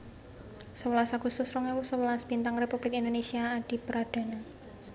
Sewelas agustus rong ewu sewelas Bintang Republik Indonésia Adipradana